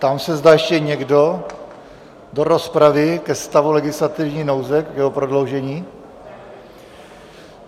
Ptám se, zda ještě někdo do rozpravy ke stavu legislativní nouze, k jeho prodloužení.